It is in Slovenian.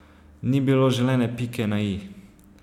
Ni bilo želene pike na i.